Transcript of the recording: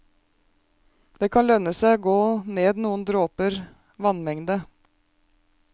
Det kan også lønne seg å gå ned noen dråper vannmengde.